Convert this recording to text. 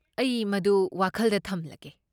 ꯑꯩ ꯃꯗꯨ ꯋꯥꯈꯜꯗ ꯊꯝꯂꯒꯦ꯫